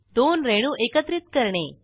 दोन रेणू एकत्रित करणे